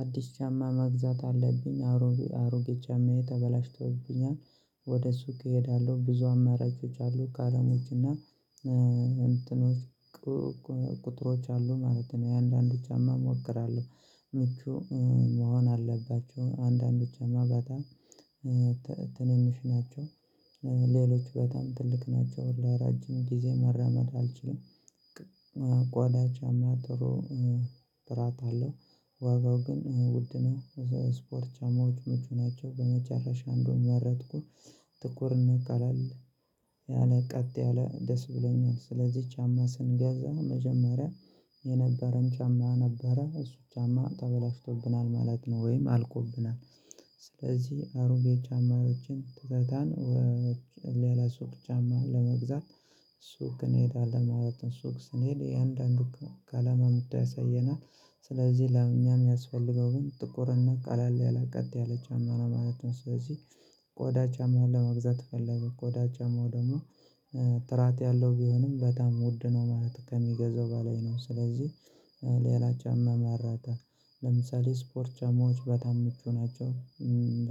አዲስ ጫማ መግዛት አለብኝ አሮጌ አሮጌ ጫማዬ ተበላሽቶብኛል። ወደ ሱቅ እሄዳለሁ ብዙ አማራጮች አሉ ከቀለሞች እና እንትኖች ቁጥሮች አሉ ማለት ነው። የአንዳንድ ጫማ እሞክራለሁ። ምቹ መሆን አለባቸው። አንዳንድ ጫማ በጣም ትንንሽ ናቸው። ሌሎች በጣም ትልቅ ናቸው። ለረጅም ጊዜ መራመድ አልችልም። ቆዳ ጫማ ጥሩ ትራት አለው ዋጋው ግን ውድ ነው። ስፖርት ጫማዎች ምቹ ናቸው። በመጨረሻ እንዱን መረጥኩ። ጥኩር እና ቀላል ያለ ቀጥ ያለ ደስ ብለኛል። ስለዚህ ጫማ ስንገዛ መጀመሪያ የነበረን ጫማ ነበረ እሱ ጫማ ተበላሽቶብናል ማለት ነው። ወይም አልቆብናል። ስለዚህ አሮጌ ጫማዎችን ትታን ሌላ ሱቅ ጫማ ለመግዛት ሱቅ እንሄዳለን ማለት ነው። ሱቅ ስንሄድ እያንዳንዱ ቀለማ አምጥቶ ያሳየናል። ስለዚህ ለእኛ የሚያስፈልገው ግን ጥቁርና ቃላል ያለ ቀጥ ያለ ጫማ ነው ማለት ነው። ስለዚህ ቆዳ ጫማ ለመግዛት ፈለገ ቆዳ ጫማው ደግሞ ጥራት ያለው ቢሆንም በጣም ውድ ነው። ማለት ከሚገዛው በላይ ነው። ስለዚህ ሌላ ጫማ ማራጠ ለምሳሌ ስፖርት ጫማዎች በጣም ምቹ ናቸው።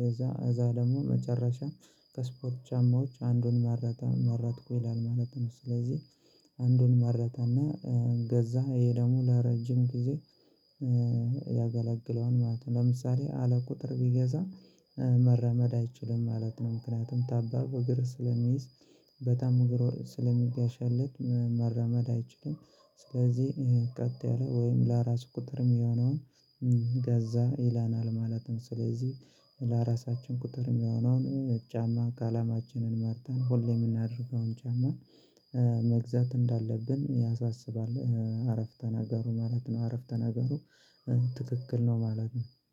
እዛ እዛ ደግሞ መጨረሻም ከስፖርት ጫማዎች አንዱን መረጣ መረጥኩ ይላል ማለት ነው። ስለዚህ አንዱን መረጠና ገዛ። ይሄ ደግሞ ለረጅም ጊዜ ያገላግለዋል ማለት ነው። ለምሳሌ አለ ቁጥር ቢገዛ መረመድ አይችልም ማለት ነው። ምክንያቱም ጣባብ እግር ስለሚይዝ በጣም እግር ስለሚጋሻልጥ መረመድ አይችልም። ስለዚህ ቀጥ ያለ ለራሱ ቁጥር የሚሆነውን ገዛ ይላናል ማለት ነው። ስለዚህ ለራሳችን ቁጥር የሚሆነውን ጫማ ቀለማችንን መርጠን ሁሌ የምናደርገውን ጫማ መግዛት እንዳለብን ያሳስባል። አረፍተ ናገሩ ማለት ነው። አረፍተ ናገሩ ትክክል ነው ማለት ነው